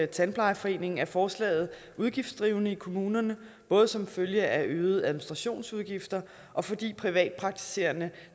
tandplejerforening er forslaget udgiftsdrivende i kommunerne både som følge af øgede administrationsudgifter og fordi privatpraktiserende